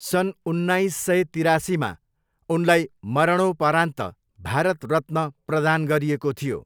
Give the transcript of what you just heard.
सन् उन्नाइस सय तिरासीमा उनलाई मरणोपरान्त भारत रत्न प्रदान गरिएको थियो।